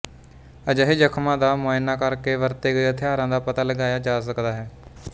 ਅਜਿਹੇ ਜ਼ਖਮਾਂ ਦਾ ਮੁਆਇਨਾ ਕਰ ਕੇ ਵਰਤੇ ਗਏ ਹਥਿਆਰ ਦਾ ਪਤਾ ਲਗਾਇਆ ਜਾ ਸਕਦਾ ਹੈ